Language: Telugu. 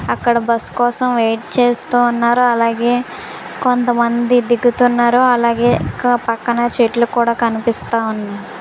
అక్కడ బస్ కోసం వెయిట్ చేస్తూ ఉన్నారు అలాగే కొంతమంది దిగుతున్నారు అలాగే క_పక్కన చెట్లు కూడా కనిపిస్తున్నాయి.